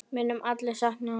Við munum allir sakna hans.